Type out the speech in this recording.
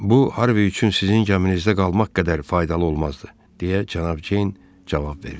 Bu Harvi üçün sizin gəminizdə qalmaq qədər faydalı olmazdı, deyə Cənab Ceyn cavab verdi.